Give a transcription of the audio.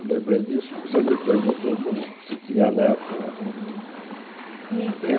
Eu lembrei disso porque você me perguntou como se tinha neto, né? Uhum e e Tenho